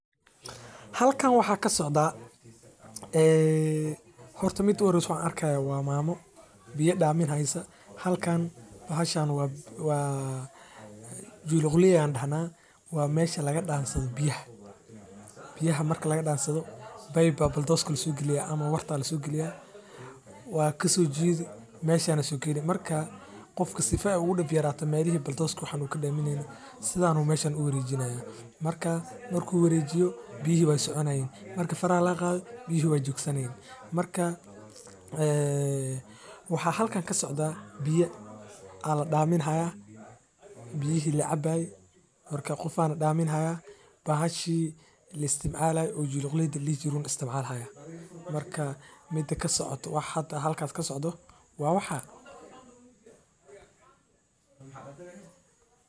Halkan waxaa kasocdaa horta mida uhoreyso aan arki haayo waa mama waa meesha biyaha laga dansado in la isticmaalo waxeey kobcisa dalaga ilaa laba jeer waxa waye waqtiga safarka suuqa ee bankiga ugu tagay in la helo waye sida udayirasu.